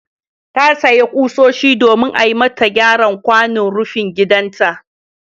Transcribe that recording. Ta sayo ƙusoshi domin a yi mata gyaran kwanon rufin gidanta.